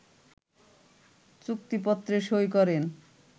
চুক্তিপত্রে সই করেন